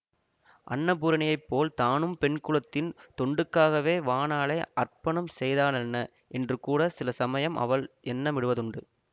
அன்னபூரணியைப் போல் தானும் பெண் குலத்தின் தொண்டுக்காகவே வாணாளே அர்ப்பணம் செய்தாலென்ன என்று கூட சில சமயம் அவள் எண்ண மிடுவதுண்டு